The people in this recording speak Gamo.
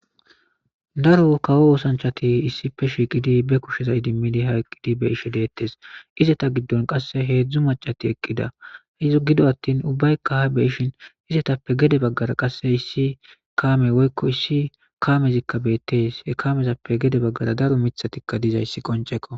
daro kawo oosanchati issipe shiiqidi be kusheza idimmidi ha eqqidi be ishe deettes izeta giddon qasse heedzdzu macati eqqida izo gido attin ubbaykka ha be ishin izetappe gede baggara qasse issi kaame woykko issi kamezikka beettes he kamezappe gede baggara daro mithatikka dizayssi qonceko